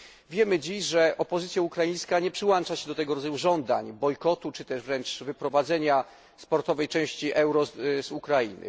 Wiemy dziś, że opozycja ukraińska nie przyłącza się do tego rodzaju żądań bojkotu czy wręcz wyprowadzenia sportowej części Euro z Ukrainy.